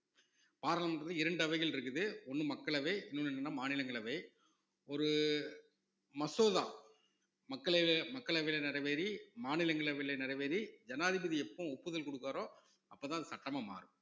பாராளுமன்றத்தில இரண்டு அவைகள் இருக்குது ஒண்ணு மக்களவை இன்னொன்னு என்னன்னா மாநிலங்களவை ஒரு மசோதா மக்களவை~ மக்களவையில நிறைவேறி மாநிலங்களவையில நிறைவேறி ஜனாதிபதி எப்ப ஒப்புதல் கொடுப்பாரோ அப்பதான் சட்டமா மாறும்